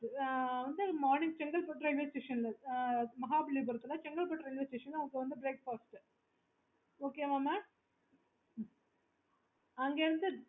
chengalpattu railway station ல உங்களுக்கு வந்து breakfast Okay வா மா அங்க இருந்து